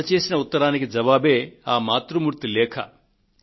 అందజేసిన ఉత్తరానికి జవాబే ఆ మాతృమూర్తి లేఖ